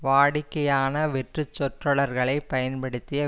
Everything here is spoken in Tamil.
வாடிக்கையான வெற்றுச் சொற்றொடர்களை பயன்படுத்திய